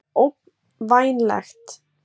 Þetta er ógnvænlegt